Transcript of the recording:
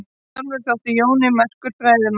Sjálfur þótti Jón merkur fræðimaður.